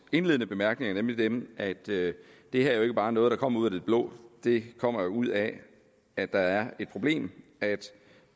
indledende bemærkninger nemlig dem at det her ikke bare er noget der kommer ud af det blå det kommer ud af at der er et problem